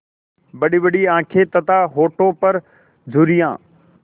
बड़ीबड़ी आँखें तथा होठों पर झुर्रियाँ